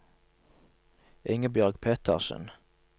Ingebjørg Pettersen